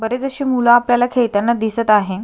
बरेच अशी मुल आपल्याला खेळताना दिसत आहे.